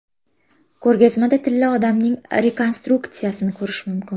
Ko‘rgazmada Tilla odamning rekonstruksiyasini ko‘rish mumkin.